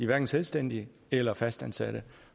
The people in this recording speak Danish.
hverken selvstændige eller fastansatte